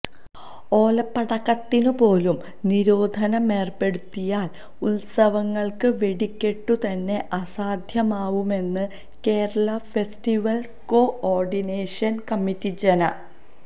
ഓലപ്പടക്കത്തിനുപോലും നിരോധനമേര്പ്പെടുത്തിയാല് ഉത്സവങ്ങള്ക്ക് വെടിക്കെട്ടുതന്നെ അസാധ്യമാവുമെന്ന് കേരള ഫെസ്റ്റിവല് കോഓഡിനേഷന് കമ്മിറ്റി ജന